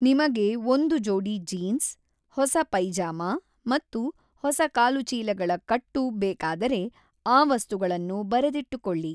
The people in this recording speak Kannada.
ನಿಮಗೆ ಒಂದು ಜೋಡಿ ಜೀನ್ಸ್, ಹೊಸ ಪೈಜಾಮಾ ಮತ್ತು ಹೊಸ ಕಾಲುಚೀಲಗಳ ಕಟ್ಟು ಬೇಕಾದರೆ, ಆ ವಸ್ತುಗಳನ್ನು ಬರೆದಿಟ್ಟುಕೊಳ್ಳಿ.